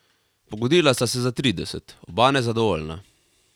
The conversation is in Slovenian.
Pogodila sta se za trideset, oba nezadovoljna.